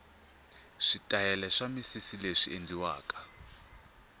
switayela swa misisileswi endliwaka